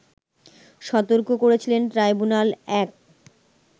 সতর্ক করেছিলেন ট্রাইব্যুনাল-১